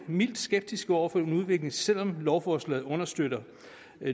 mildt skeptiske over for den udvikling selv om lovforslaget understøtter